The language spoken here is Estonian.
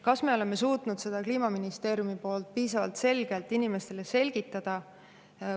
Kas me oleme suutnud seda Kliimaministeeriumi poolt piisavalt selgelt inimestele selgitada?